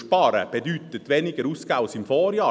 Sparen bedeutet weniger ausgeben als im Vorjahr.